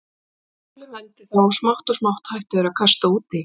Sólin vermdi þá og smátt og smátt hættu þeir að kasta út í.